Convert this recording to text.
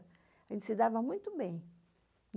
A gente se dava muito bem.